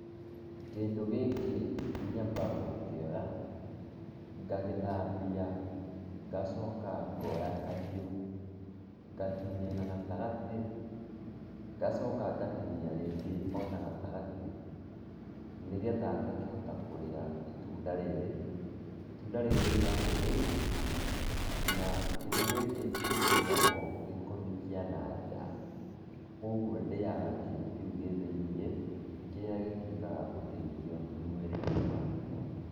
Kĩndũ gĩkĩ nyambaga gũkĩoya, ngagĩthambia, ngacoka ngoya kahiũ, ngatinia na gatagatĩ, ngacoka ngatinia rĩngi ona gatagatĩ nĩgetha ngakĩhota kũrĩa itunda rĩrĩ. Itunda rĩrĩ rĩrĩagwo thĩini na kĩndũ gĩkĩ gĩtirĩagwo gĩkoni kĩa nanja, kwoguo ndĩyaga kĩndũ kĩu gĩ thĩiniĩ, kĩrĩa gĩtuĩkaga ũteithio mwĩrĩ-inĩ wakwa.